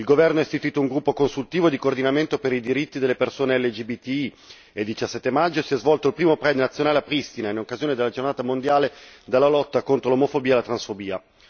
Il governo ha istituito un gruppo consultivo di coordinamento per i diritti delle persone LGBTI e il 17 maggio si è svolto il primo Pride nazionale a Pristina in occasione della giornata mondiale della lotta contro l'omofobia e la transfobia.